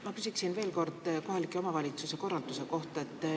Ma küsin veel kord kohaliku omavalitsuse korralduse kohta.